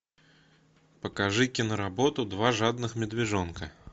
покажи киноработу два жадных медвежонка